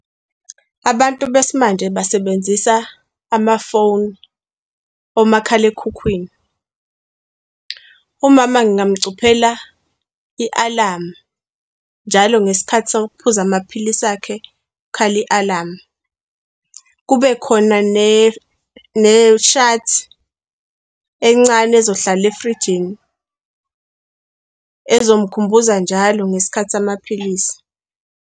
Abantu besimanje basebenzisa amafoni, omakhalekhukhwini. Umama ngingamcuphela ialamu, njalo ngesikhathi sokuphuza amaphilisi akhe kukhale ialamu. Kube khona neshadi encane ezohlala efrijini, ezomkhumbuza njalo ngesikhathi samaphilisi.